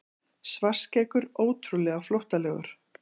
Svartskeggur ótrúlega flóttalegur.